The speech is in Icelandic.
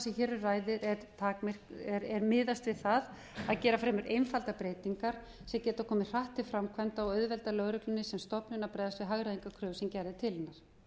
sem hér um ræðir er miðað við það að gera fremur einfaldar breytingar sem geta komið hratt til framkvæmda og auðvelda lögreglunni sem stofnun að bregðast við hagræðingarkröfu sem gerð er til hennar